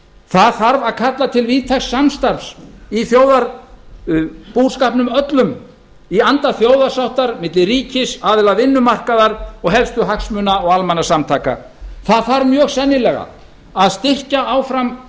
það þarf að kalla til víðtæks samstarfs í þjóðarbúskapnum öllum í anda þjóðarsáttar milli ríkis aðila vinnumarkaðar og helstu hagsmuna og almannasamtaka það þarf sennilega að styrkja áfram